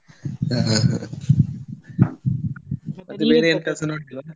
ಆ ಹಾ ನೋಡೋದಿಲ್ವ?